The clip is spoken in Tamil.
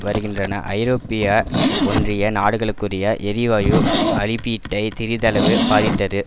வருகின்ற ஐரோப்பிய ஒன்றிய நாடுகளுக்குரிய எரிவாயு அரிப்பீட்டை திறிதளவு பாதித்தது